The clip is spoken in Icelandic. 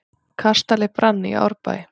Kastali brann í Árbæ